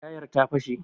Tayar ta fashe